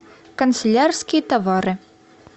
канцелярские товары